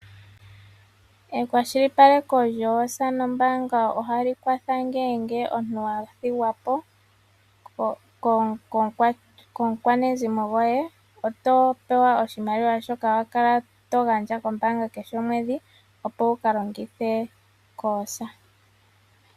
Ekwashilipaleko lyoosa nombaanga ohali kwatha ngele omuntu a thigwa po komukwqnezimo goye, oto pewa oshimaliwa shoka wa kala to gandja kombaanga kehe omwedhi, opo wu ka longithe koosa.